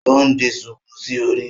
O n di shuku sí orí